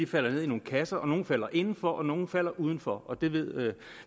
falder ned i nogle kasser nogle falder inden for og nogle falder uden for og det ved